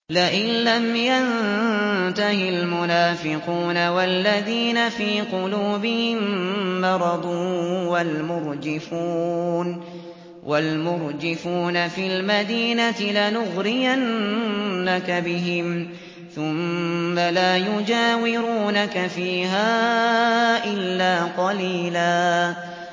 ۞ لَّئِن لَّمْ يَنتَهِ الْمُنَافِقُونَ وَالَّذِينَ فِي قُلُوبِهِم مَّرَضٌ وَالْمُرْجِفُونَ فِي الْمَدِينَةِ لَنُغْرِيَنَّكَ بِهِمْ ثُمَّ لَا يُجَاوِرُونَكَ فِيهَا إِلَّا قَلِيلًا